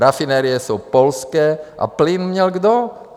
Rafinerie jsou polské a plyn měl kdo?